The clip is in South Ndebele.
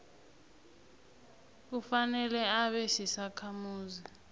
kufanele abe sisakhamuzi